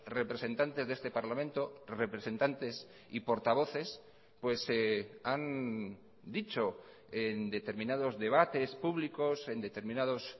representantes de este parlamento representantes y portavoces han dicho en determinados debates públicos en determinados